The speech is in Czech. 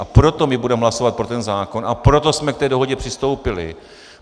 A proto my budeme hlasovat pro ten zákon a proto jsme k té dohodě přistoupili.